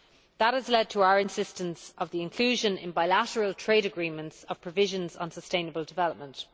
That has led to our insistence on the inclusion in bilateral trade agreements of provisions on sustainable development.